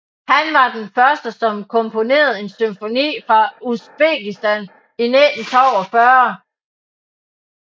Han var den første som komponerede en symfoni fra Usbekistan i 1942